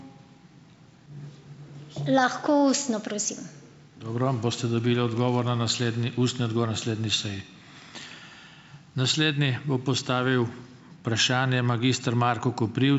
Lahko ustno, prosim.